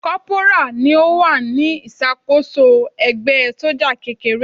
Kọ́pùrà ni ó wà ní ìṣàkóso ẹgbẹ́ sójà kékeré.